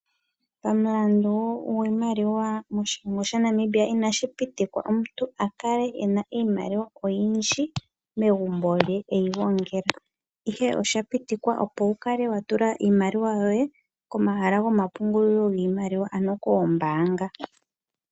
Pamulandu goshilongo sha Namibia inashi pitikwa omuntu kale ena oshimaliwa Ihe oshapiktikwa opo wukale watula iimaliwa yoye komahala goma pungulilo giimaliwa ano kombaanga.